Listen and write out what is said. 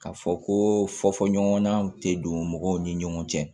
K'a fɔ ko fɔ ɲɔgɔn tɛ don mɔgɔw ni ɲɔgɔn cɛ